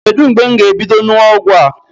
Kedu mgbe m ga-ebido ṅụwa ọgwụ a?